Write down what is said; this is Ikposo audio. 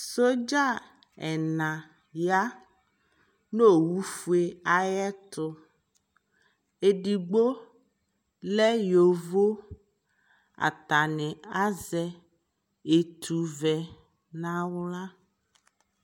soldier ɛna ya nʋ ɔwʋ ƒʋɛ ayɛtʋ, ɛdigbɔ lɛ yɔvɔ, atani azɛ ɛtʋ vɛ nʋ ala